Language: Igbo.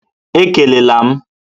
Ekele la m!